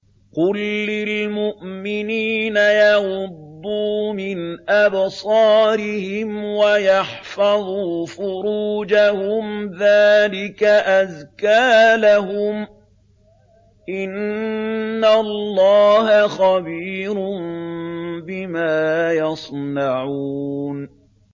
قُل لِّلْمُؤْمِنِينَ يَغُضُّوا مِنْ أَبْصَارِهِمْ وَيَحْفَظُوا فُرُوجَهُمْ ۚ ذَٰلِكَ أَزْكَىٰ لَهُمْ ۗ إِنَّ اللَّهَ خَبِيرٌ بِمَا يَصْنَعُونَ